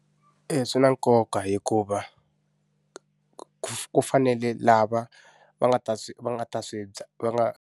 E, swi na nkoka hikuva, ku ku fanele lava va nga ta va nga ta swi dya va nga.